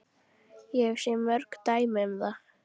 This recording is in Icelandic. Ég hef séð mörg dæmi um það.